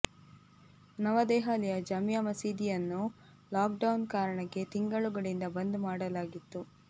ನವದೆಹಲಿಯ ಜಾಮೀಯಾ ಮಸೀದಿಯನ್ನು lockdown ಕಾರಣಕ್ಕೆ ತಿಂಗಳುಗಳಿಂದ ಬಂದ್ ಮಾಡಲಾಗಿತ್ತು